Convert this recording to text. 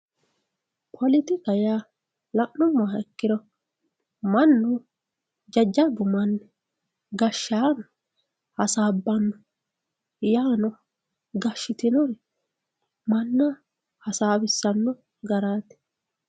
politikaho yaa la'nummoha ikkiro mannu jajjabbu manni gashshaano hasaabbanno yaano gashshitinori manna hasaawissanno garaati.